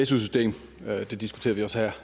su system det diskuterede vi også